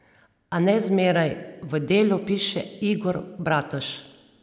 A ne zmeraj, v Delu piše Igor Bratož.